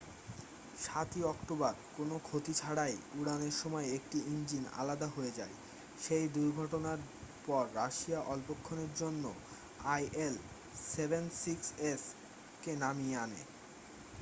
7'ই October কোনও ক্ষতি ছাড়াই উড়ানের সময় একটি ইঞ্জিন আলাদা হয়ে যায়। সেই দুর্ঘটনার পর রাশিয়া অল্পক্ষণের জন্য il-76s কে নামিয়ে আনে।